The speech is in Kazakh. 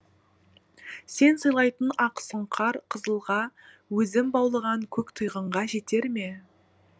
сен сыйлайтын ақсұңқар қызылға өзім баулыған көк тұйғынға жетер ме